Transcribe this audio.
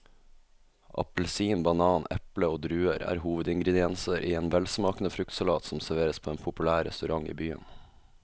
Appelsin, banan, eple og druer er hovedingredienser i en velsmakende fruktsalat som serveres på en populær restaurant i byen.